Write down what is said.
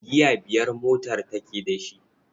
Giya biyar motar take da shi.